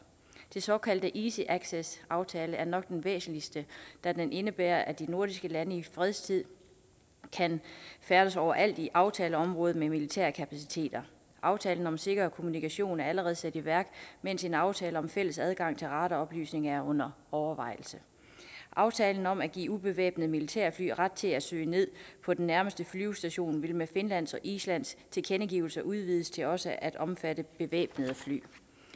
den såkaldte easy access aftale er nok den væsentligste da den indebærer at de nordiske lande i fredstid kan færdes overalt i aftaleområdet med militære kapaciteter aftalen om sikker kommunikation er allerede sat i værk mens en aftale om fælles adgang til radaroplysninger er under overvejelse aftalen om at give ubevæbnede militærfly ret til at søge ned på den nærmeste flyvestation vil med finlands og islands tilkendegivelser udvides til også at omfatte bevæbnede fly